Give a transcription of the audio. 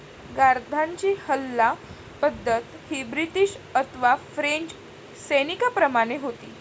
गार्द्यांची हल्ला पद्धत ही ब्रिटीश अथवा फ्रेंच सैनीकांप्रमाने होती.